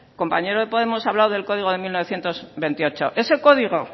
compañero de podemos ha hablado del código de mil novecientos veintiocho ese código